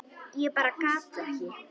Ég bara gat ekki.